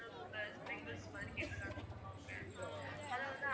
potato sprinkles மாதிரி கேட்டிருக்காங்க ma'am அவங்க